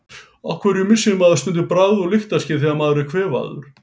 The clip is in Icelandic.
Af hverju missir maður stundum bragð- og lyktarskyn þegar maður er kvefaður?